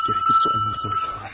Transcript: Gərəksə onları da öldürərəm.